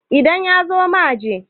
idan ya zo ma je!